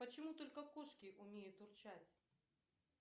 почему только кошки умеют урчать